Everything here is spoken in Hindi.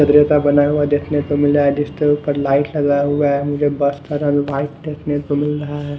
का बना हुआ देखने को मिल रहा है जिसके ऊपर लाइट लगा हुआ है मुझे बस का रंग व्हाइट देखने को मिल रहा है।